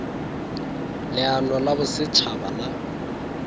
leano la boset haba la